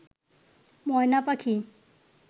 ময়না পাখি